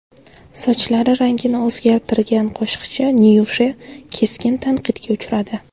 Sochlari rangini o‘zgartirgan qo‘shiqchi Nyusha keskin tanqidga uchradi.